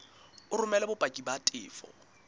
o romele bopaki ba tefo